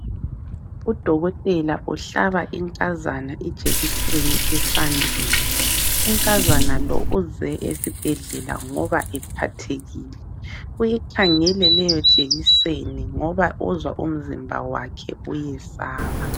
Udokotela uhlaba inkazana ijekiseni esandleni. Unkazana lo uze esibhedlela ngoba ephathekile. Uyikhangele leyo jekiseni ngoba uzwa umzimba wakhe uyesaba.